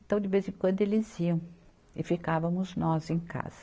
Então, de vez em quando eles iam e ficávamos nós em casa.